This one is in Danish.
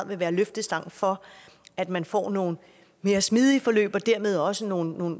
vil være løftestang for at man får nogle mere smidige forløb og dermed også nogle